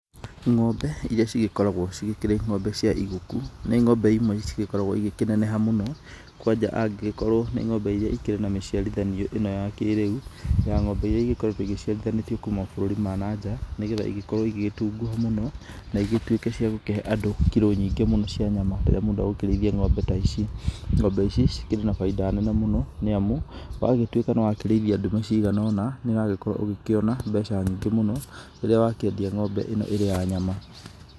Ng'ombe, iria cĩgĩkoragũo cigĩkĩrĩ ng'ombe cia iguku, nĩ ng'ombe imwe cigĩkoragũo igĩkĩneneha mũno, kwanja angĩgĩkorwo nĩ ng'ombe iria ikĩrĩ na mĩciarithanio ĩno wa kĩrĩu, ya ng'ombe iria igĩkoretũo iciarithanĩtio kuma mabũrũri ma nanja, nĩgetha igĩkorũo igĩgĩtunguha mũno, na igĩtuĩke cia gũkĩhe andũ kiro nyingĩ mũno cia nyama. Rĩrĩa mũndũ egũkĩrĩithia ng'ombe ta ici. Ng'ombe ici, cikĩrĩ na bainda nene mũno, nĩamu, wagĩtuĩka nĩwagĩkĩrĩithia ndume cigana ũna, nĩũragĩkorũo ũgĩkĩona mbeca nyingĩ mũno, rĩrĩa wakĩendia ng'ombe ĩno ĩrĩ ya nyama.